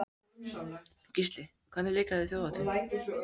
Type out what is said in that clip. Gísli: Hvernig líkaði þér Þjóðhátíðin?